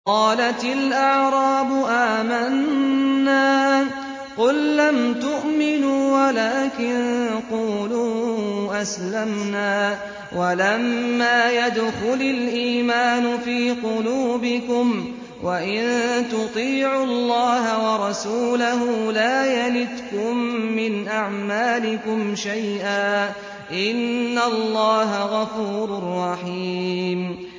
۞ قَالَتِ الْأَعْرَابُ آمَنَّا ۖ قُل لَّمْ تُؤْمِنُوا وَلَٰكِن قُولُوا أَسْلَمْنَا وَلَمَّا يَدْخُلِ الْإِيمَانُ فِي قُلُوبِكُمْ ۖ وَإِن تُطِيعُوا اللَّهَ وَرَسُولَهُ لَا يَلِتْكُم مِّنْ أَعْمَالِكُمْ شَيْئًا ۚ إِنَّ اللَّهَ غَفُورٌ رَّحِيمٌ